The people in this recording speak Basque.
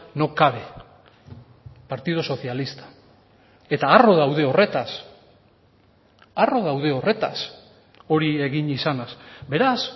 no cabe partido socialista eta harro daude horretaz harro daude horretaz hori egin izanaz beraz